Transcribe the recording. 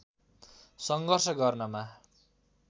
सङ्घर्ष गर्नमा